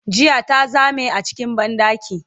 jiya ta Zame a cikin banɗaki